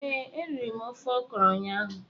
Ee, eriri m ofe ọkrọ ụnyaahụ